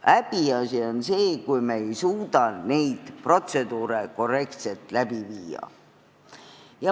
Häbiasi on see, kui me ei suuda neid protseduure korrektselt läbi viia.